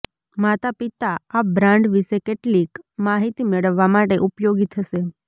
માતાપિતા આ બ્રાન્ડ વિશે કેટલીક માહિતી મેળવવા માટે ઉપયોગી થશે